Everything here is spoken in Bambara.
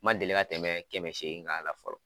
N ma deli ka tɛmɛ kɛmɛ segin k'a la fɔlɔ